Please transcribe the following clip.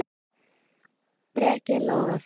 Breki Logason: Hvers vegna?